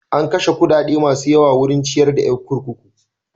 An kashe kuɗaɗa masu yawa wurin ciyar da yan kurkuku.